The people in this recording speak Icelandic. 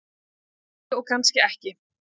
Kannski og kannski ekki.